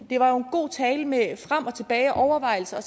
det var jo en god tale med frem og tilbage og overvejelser